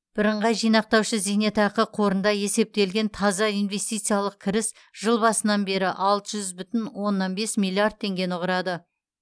бірыңғай жинақтаушы зейнетақы қорында есептелген таза инвестициялық кіріс жыл басынан бері алты жүз бүтін оннан бес миллиард теңгені құрады